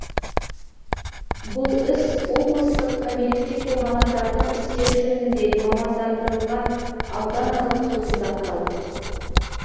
бұл іс облыстық кәмелетке толмағандардың істері жөніндегі мамандандырылған ауданаралық сотында қаралды